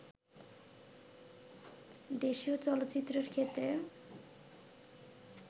দেশীয় চলচ্চিত্রের ক্ষেত্রে